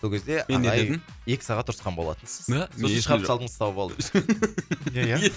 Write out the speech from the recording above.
сол кезде ағай мен не дедім екі сағат ұрысқан болатынсыз да сосын шығарып салдыңыз сау бол деп